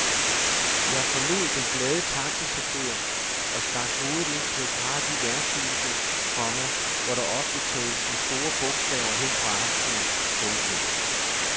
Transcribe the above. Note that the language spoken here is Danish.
Jeg forlod den glade taxachauffør og stak hovedet ind på et par af de værtshuse, komma hvor der ofte tales med store bogstaver hen på aftenen. punktum